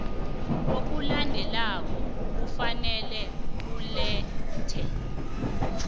okulandelako kufanele kulethwe